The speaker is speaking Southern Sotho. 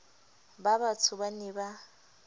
ba batsho ba ne ba